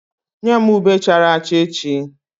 Nye m ube chara acha echi!